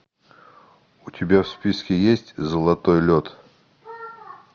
у тебя в списке есть золотой лед